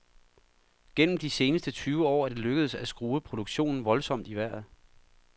Gennem de seneste tyve år er det lykkedes at skrue produktionen voldsomt i vejret.